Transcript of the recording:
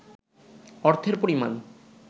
অর্থের পরিমাণ